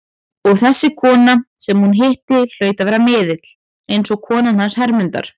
Og þessi kona sem hún hitti hlaut að vera miðill, eins og konan hans Hermundar.